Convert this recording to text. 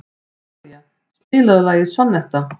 Talía, spilaðu lagið „Sonnetta“.